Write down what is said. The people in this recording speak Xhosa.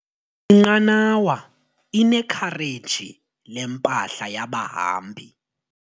Inqanawa inekhareji lempahla yabahambi.